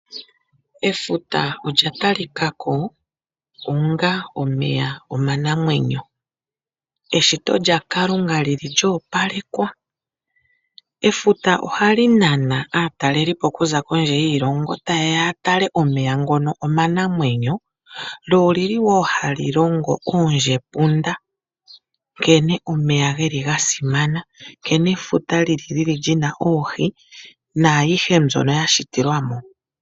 Efuta olya talika ko onga omeya omanamwenyo eshito lyaKalunga li li lyoopalekwa. Efuta ohali nana aatalelipo okuza kondje yiilongo taye ya tale omeya ngono omanamwenyo lyo oli li wo hali longo oondjepunda nkene omeya geli ga simana , nkene efuta lyili lina oohi naayihe mbyono ya shitilwa mo.